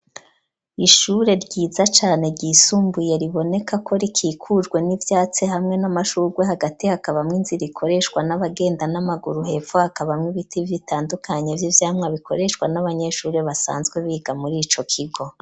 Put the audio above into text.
Ishure ryiza cane ryisumbuye riboneka ko rikikujwe n'ivyatsi hamwe n'amashurwe hagati hakabamwo inzira ikoreshwa n'abagenda n'amaguru hepfu hakabamwe ibiti vyitandukanye vy'ivyamwa bikoreshwa n'abanyeshure basanzwe biga muri ico kigo.